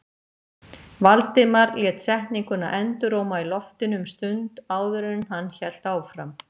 Valdimar lét setninguna enduróma í loftinu um stund áður en hann hélt áfram.